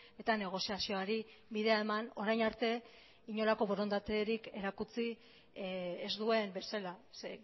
eta negoziazioari bidea eman orain arte inolako borondaterik erakutsi ez duen bezala ze